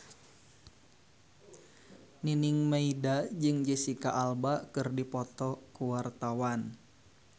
Nining Meida jeung Jesicca Alba keur dipoto ku wartawan